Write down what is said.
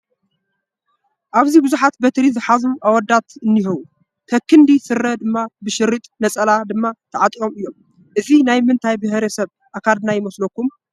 ኣብዚ ብዙሓት በትሪ ዝሓዙ ኣወዳት እኒሄው፡፡ ከክንዲ ስረ ድማ ብሸሪጥ ነፀላ ድማ ተዐጢቆም እዮም፡፡ እዚ ናይ ምንታይ ብሄረሰብ ኣካዳድና ይመስለኩም?